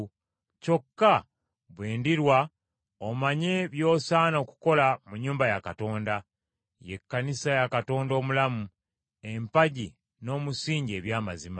kyokka bwe ndirwa omanye by’osaana okukola mu nnyumba ya Katonda, ye Ekkanisa ya Katonda omulamu, empagi n’omusingi eby’amazima.